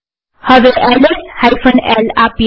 હવે L S l આપીએ